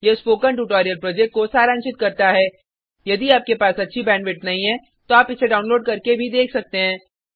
यह spoken tutorial project को सारांशित करता है यदि आपके पास अच्छा बैंडविड्थ नहीं है तो आप इसको डाउनलोड करके भी देख सकते हैं